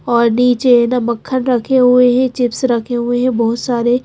और नीचे है ना मक्खन रखे हुए हैं चिप्स रखे हुए हैं बहुत सारे--